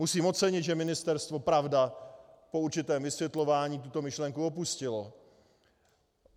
Musím ocenit, že ministerstvo, pravda, po určitém vysvětlování, tuto myšlenku opustilo.